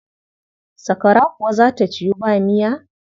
Sakwara kuwa za ta ciwu ba miya.